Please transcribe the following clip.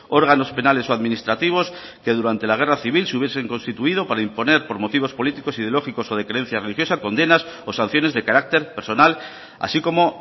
órganos penales o administrativos que durante la guerra civil se hubiesen constituido para imponer por motivos políticos ideológicos o de creencias religiosa condenas o sanciones de carácter personal así como